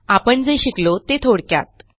आपण जे शिकलो ते थोडक्यात